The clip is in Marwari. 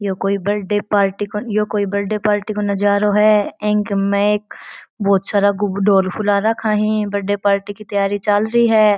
ये कोई बर्थडे पार्टी को ये कोई बर्थडे पार्टी को नजारो है अ के माय एक बहुत सारा ढोल फुला राखा है बर्थडे पार्टी की तैयारी चालरी है।